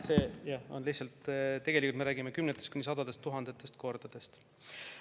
Me tegelikult räägime kümnetest kuni sadadest tuhandetest kordadest.